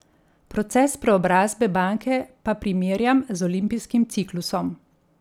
Proces preobrazbe banke pa primerjam z olimpijskim ciklusom.